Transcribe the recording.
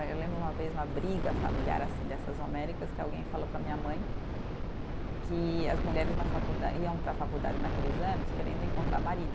Eu lembro uma vez uma briga familiar, assim, dessas homéricas, que alguém falou para minha mãe que as mulheres na faculda, iam para a faculdade naqueles anos querendo encontrar marido.